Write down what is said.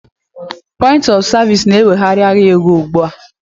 Point of Service is now taking over the financial market